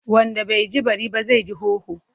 Wanda bai ji bari ba, zai ji hoho.